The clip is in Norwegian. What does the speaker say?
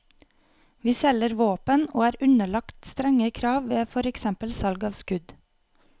Vi selger våpen og er underlagt strenge krav ved for eksempel salg av skudd.